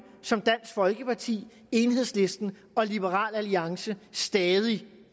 som dansk folkeparti enhedslisten og liberal alliance stadig